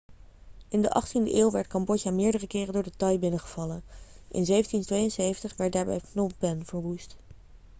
in de 18e eeuw werd cambodja meerdere keren door de thai binnengevallen in 1772 werd daarbij phnom phen verwoest